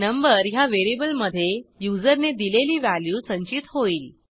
number ह्या व्हेरिएबलमधे युजरने दिलेली व्हॅल्यू संचित होईल